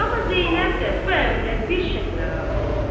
Amma Zeynəb də bu əmrə bir şərtlə razı oldu.